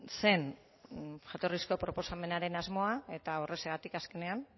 zen jatorrizko proposamenaren asmoa eta horrexegatik azkenean